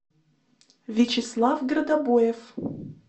вячеслав градобоев